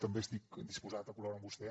també estic disposat a col·laborar amb vostè